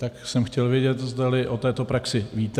Tak jsem chtěl vědět, zdali o této praxi víte.